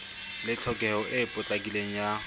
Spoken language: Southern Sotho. le tlhokeho e potlakileng ya